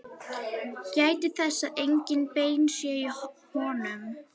Gætið þess að engin bein séu í honum.